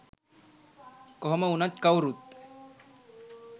කොහොම උනත් කවුරුත්